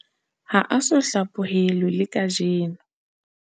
Ha a so hlaphohelwe le kajeno.